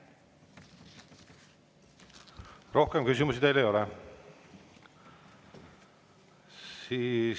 Rohkem küsimusi teile ei ole.